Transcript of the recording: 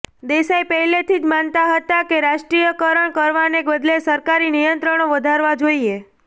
દેસાઈ પહેલેથી જ માનતા હતા કે રાષ્ટ્રીયકરણ કરવાને બદલે સરકારી નિયંત્રણો વધારવા જોઈએ